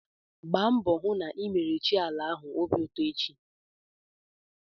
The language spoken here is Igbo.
Gba mbọ hụ na ị mere chi ala ahụ obi ụtọ echi!